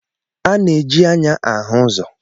A na-eji anya ahu uzo.